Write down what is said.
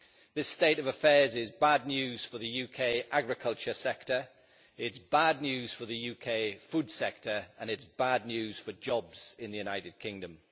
This state of affairs is bad news for the UK agriculture sector, it is bad news for the UK food sector, and it is bad news for jobs in the United Kingdom.